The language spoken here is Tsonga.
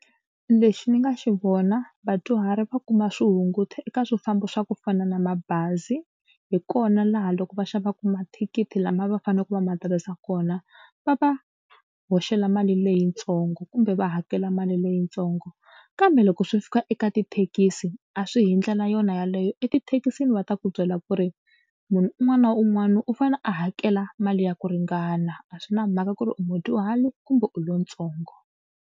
Lexi ni nga xi vona vadyuhari va kuma swihunguto eka swifambo swa ku fana na mabazi hi kona laha loko va xavaka mathikithi lama va faneleke va ma tirhisa kona va va hoxela mali leyitsongo kumbe va hakela mali leyitsongo kambe loko swi fika eka tithekisi a swi hi ndlela yona yeleyo. Etithekisini va ta ku byela ku ri munhu un'wana na un'wana u fane a hakela mali ya ku ringana a swi na mhaka ku ri u mudyuhari kumbe u lontsongo.